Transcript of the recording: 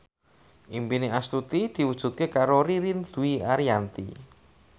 impine Astuti diwujudke karo Ririn Dwi Ariyanti